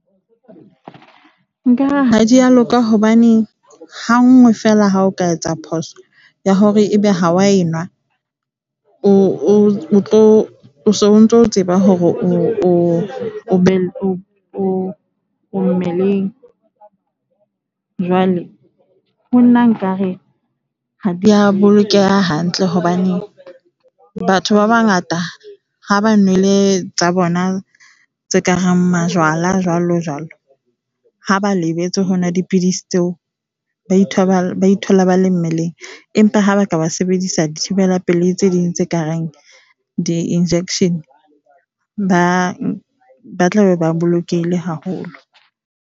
Nkare ha di a loka hobaneng hanngwe feela ha o ka etsa phoso ya hore e be ha o a enwa, o so ntso o tseba hore o be o o mmeleng. Jwale ho nna nkare ha di a bolokeha hantle hobane batho ba bangata ha ba nwele tsa bona tse ka reng majwala, jwalojwalo. Ha ba lebetse ho nwa dipidisi tseo, ba ithola ba le mmeleng, empa ha ba ka sebedisa dithibela pelei tse ding tse ka reng di-injection ba tla be ba bolokehile haholo.